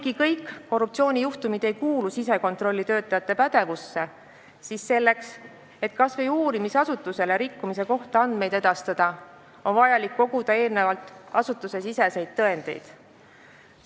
Kuigi kõik korruptsioonijuhtumid ei kuulu sisekontrollitöötajate pädevusse, siis selleks, et kas või uurimisasutusele rikkumise kohta andmeid edastada, on vaja eelnevalt asutusesiseseid tõendeid koguda.